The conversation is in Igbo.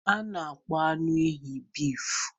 A na-akpọ anụ ehi bịfu.